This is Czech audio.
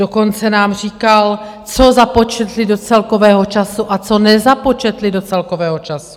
Dokonce nám říkal, co započetli do celkového času a co nezapočetli do celkového času.